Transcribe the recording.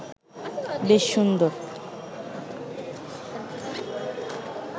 বেশ সুন্দর